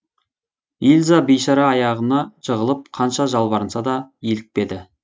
ильза бейшара аяғына жығылып қанша жалбарынса да илікпеді